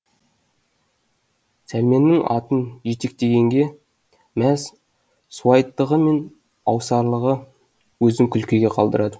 сәлменнің атын жетектегенге мәз суайттығы мен аусарлығы өзін күлкіге қалдырады